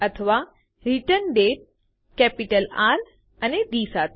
અથવા રિટર્ન્ડેટ capital R અને ડી સાથે